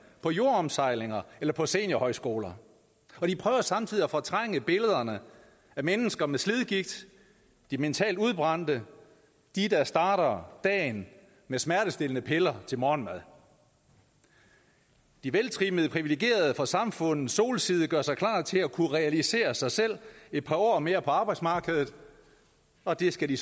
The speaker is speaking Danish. på jordomsejlinger eller på seniorhøjskoler og de prøver samtidig at fortrænge billederne af mennesker med slidgigt de mentalt udbrændte de der starter dagen med smertestillende piller til morgenmad de veltrimmede privilegerede på samfundets solside gør sig klar til at kunne realisere sig selv et par år mere på arbejdsmarkedet og det skal de